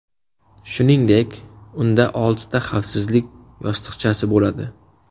Shuningdek, unda oltita xavfsizlik yostiqchasi bo‘ladi.